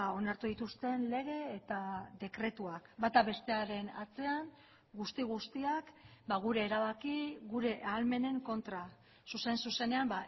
onartu dituzten lege eta dekretuak bata bestearen atzean guzti guztiak gure erabaki gure ahalmenen kontra zuzen zuzenean